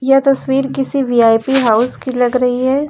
यह तस्वीर किसी वी_आई_पी हाउस की लग रही है।